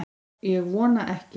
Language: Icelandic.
Ég vona ekki